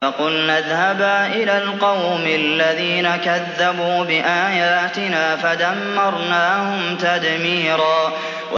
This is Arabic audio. فَقُلْنَا اذْهَبَا إِلَى الْقَوْمِ الَّذِينَ كَذَّبُوا بِآيَاتِنَا فَدَمَّرْنَاهُمْ تَدْمِيرًا